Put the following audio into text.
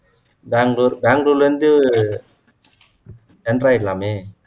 பெங்களூர் பெங்களூர்ல இருந்து jump ஆகிடலாமே